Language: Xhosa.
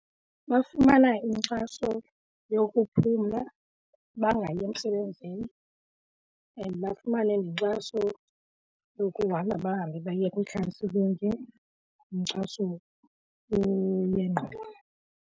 Bafumana inkxaso yokuphumla bangayi emsebenzini and bafumane nenkxaso yokuhamba bahambe baye kwiikhanselingi inkxaso yengqondo.